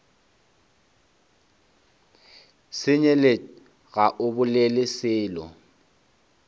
senyelet ga o bolele selo